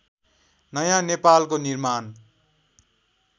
नयाँ नेपालको निर्माण